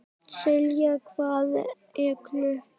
Selja, hvað er klukkan?